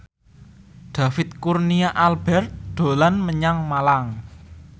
David Kurnia Albert dolan menyang Malang